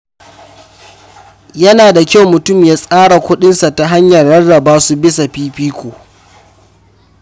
Yana da kyau mutum ya tsara kudinsa ta hanyar rarraba su bisa fifiko.